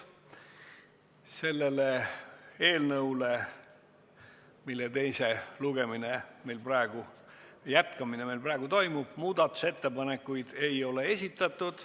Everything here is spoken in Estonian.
Selle eelnõu kohta, mille teise lugemise jätkamine meil praegu toimub, muudatusettepanekuid ei ole esitatud.